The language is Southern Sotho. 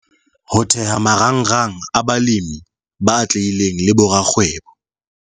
Ho theha marangrang a balemi ba atlehileng le borakgwebo.